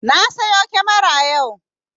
Na siyo kyamara yau